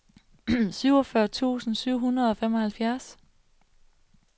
syvogfyrre tusind syv hundrede og femoghalvfjerds